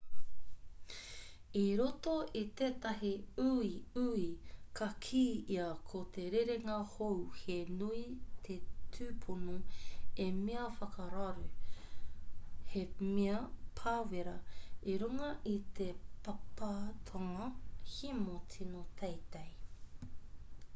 i roto i tetahi uiui ka kī ia ko te rerenga hou he nui te tupono he mea whakararu he mea pāwera i runga i te pāpātanga hemo tino teitei